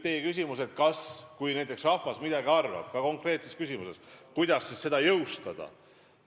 Te küsisite, et kui rahvas konkreetses küsimuses midagi otsustab, siis kuidas seda jõustada.